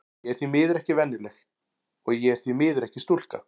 Ég er því miður ekki venjuleg, og ég er því miður ekki stúlka.